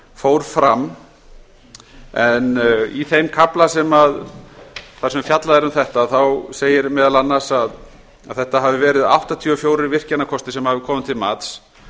fór fram en í þeim kafla þar sem fjallað er um þetta segir meðal annars að þetta hafi verið áttatíu og fjögur virkjanakostir sem hafi komið til mats